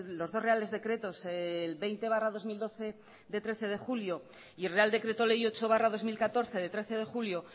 los dos reales decretos el veinte barra dos mil doce de trece de julio y el real decreto ley ocho barra dos mil catorce de trece de julio